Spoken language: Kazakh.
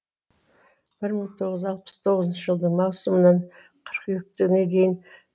бір мың тоғыз алпыс тоғызыншы жылдың маусымынан қыркүйекке дейін